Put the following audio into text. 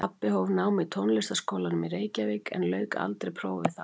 Pabbi hóf nám í Tónlistarskólanum í Reykjavík en lauk aldrei prófi þaðan.